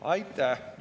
Aitäh!